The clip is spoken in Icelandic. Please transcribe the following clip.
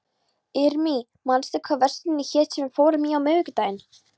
Irmý, manstu hvað verslunin hét sem við fórum í á miðvikudaginn?